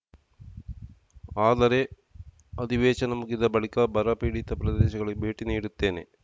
ಆದರೆ ಅಧಿವೇಶನ ಮುಗಿದ ಬಳಿಕ ಬರ ಪೀಡಿತ ಪ್ರದೇಶಗಳಿಗೆ ಭೇಟಿ ನೀಡುತ್ತೇನೆ